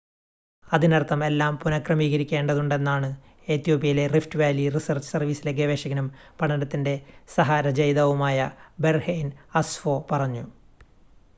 അതിനർത്ഥം എല്ലാം പുനഃക്രമീകരിക്കേണ്ടതുണ്ടെന്നാണ് എത്യോപ്യയിലെ റിഫ്റ്റ് വാലി റിസർച്ച് സർവീസിലെ ഗവേഷകനും പഠനത്തിൻ്റെ സഹ രചയിതാവുമായ ബെർഹെയ്ൻ അസ്ഫോ പറഞ്ഞു